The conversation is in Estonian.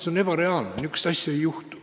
See on ebareaalne, niisugust asja ei juhtu.